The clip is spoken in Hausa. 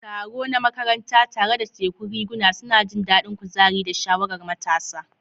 Taro na makaranta, tare da tekun riguna, suna jin daɗin kuzari da sha'awar matasa.